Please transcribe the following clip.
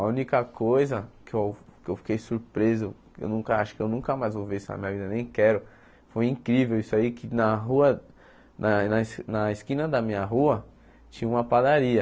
A única coisa que eu que eu fiquei surpreso, eu nunca acho que eu nunca mais vou ver isso na minha vida, nem quero, foi incrível isso aí, que na rua na na es na esquina da minha rua tinha uma padaria.